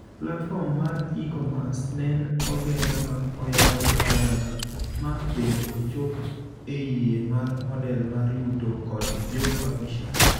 Platform mar e-commerce nen oger ma oyawe ayanga ma bende ochop e yie mar model mar yuto kod jo publishers.